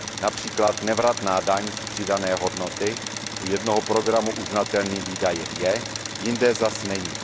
například nevratná daň z přidané hodnoty u jednoho programu uznatelným výdajem je, jinde zase není.